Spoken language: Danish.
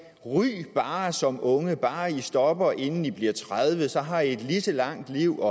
ryg bare som unge bare i stopper inden i bliver tredive så har i et lige så langt liv